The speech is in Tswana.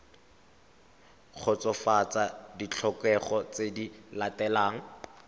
kgotsofatsa ditlhokego tse di latelang